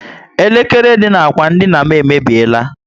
Elekere dị na ákwà dina m emebiela